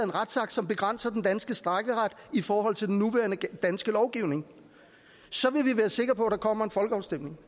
retsakt som begrænser den danske strejkeret i forhold til den nuværende danske lovgivning så vil vi være sikre på at der kommer en folkeafstemning